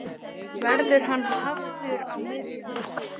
Verður hann hafður á miðjunni?